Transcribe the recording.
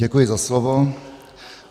Děkuji za slovo.